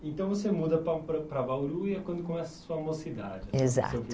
Então você muda pa para para Bauru e é quando começa a sua mocidade. Exato.